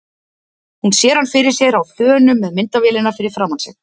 Hún sér hann fyrir sér á þönum með myndavélina fyrir framan sig.